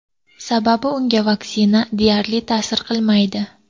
Sababi, unga vaksina deyarli ta’sir qilmaydi.